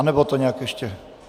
Anebo to nějak ještě...